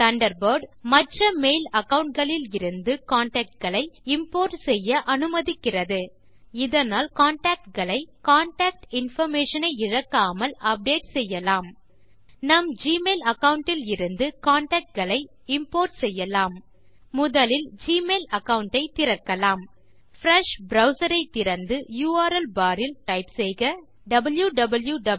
Thunderbird மற்ற mail account களிலிருந்து contact களை இம்போர்ட் செய்ய அனுமதிக்கிறது இதனால் கான்டாக்ட் களை கான்டாக்ட் இன்பார்மேஷன் ஐ இழக்காமல் அப்டேட் செய்யலாம் நம் ஜிமெயில் அகாவுண்ட் இலிருந்து கான்டாக்ட் களை இம்போர்ட் செய்யலாம் முதலில் ஜிமெயில் அகாவுண்ட் ஐ திறக்கலாம் பிரெஷ் ப்ரவ்சர் ஐ திறந்து யுஆர்எல் ல் டைப் செய்க wwwgmailcom